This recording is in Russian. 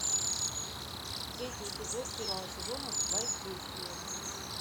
третий эпизод первого сезона воздействие